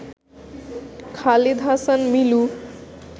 Khalid Hasan Milu